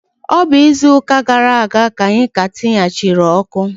Ọ bụ izuụka gara aga ka anyị ka tiyachiri ọkụ.